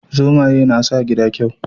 Zomaye na sa gida kyau